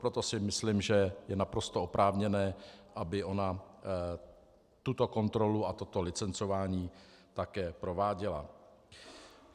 Proto si myslím, že je naprosto oprávněné, aby ona tuto kontrolu a toto licencování také prováděla.